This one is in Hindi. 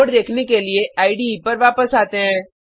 कोड देखने के लिए इडे पर वापस आते हैं